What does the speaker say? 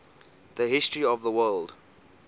the history of the word